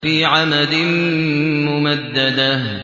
فِي عَمَدٍ مُّمَدَّدَةٍ